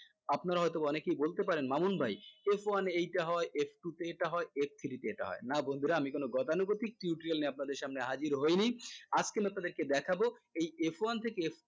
আপনারা হয়তো অনেকেই বলতে পারেন মামুন ভাই f one এ এইটা হয় f two তে এটা হয় f three তে এটা হয় না বন্ধুরা আমি কোন গতানুগতিক tutorial নিয়ে আপনাদের সামনে হাজির হয়নি আজকে আপনি আপনাদেরকে দেখাবো এই f one থেকে f